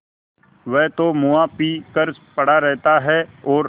वह तो मुआ पी कर पड़ा रहता है और